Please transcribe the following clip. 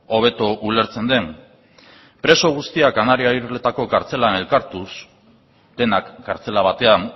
hobeto ulertzen den preso guztiak kanariar irletako kartzelan elkartuz denak kartzela batean